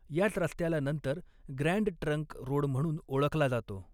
याच रस्त्याला नंतर ग्रँड ट्रंक रोड म्हणून ओळखला जातो.